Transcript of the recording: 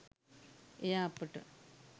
එය අපට